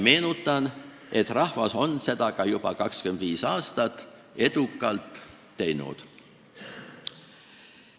Meenutan, et rahvas on seda juba 25 aastat ka edukalt teinud.